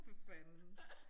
For fanden